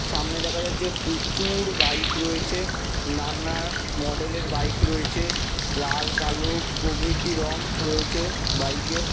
সামনে দেখা যাচ্ছে প্রচু-উ-র বাইক রয়েছে নানা মডেল -এর বাইক রয়েছে লাল কালো প্রভৃতি রং রয়েছে বাইক -এর।